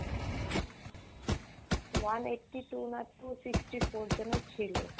one eighty-two না two sixty-four যেন ছিল।